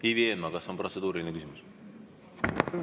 Ivi Eenmaa, kas on protseduuriline küsimus?